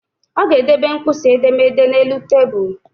Ọ ga-edebe mkpịsị edemede a n'elu tabuulu